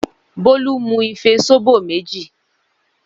Bólú mú ife sóbò méjì.